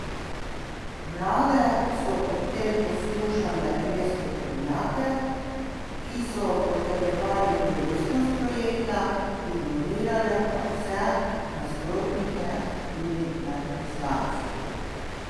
Vlade so ob tem poslušale le strokovnjake, ki so potrjevali koristnost projekta, ignorirale pa vse nasprotnike, tudi med poslanci.